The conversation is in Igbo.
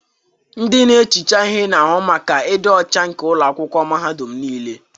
Ndị na-ehicha ihe na-ahụ maka ịdị ọcha nke ụlọ akwụkwọ mahadum niile.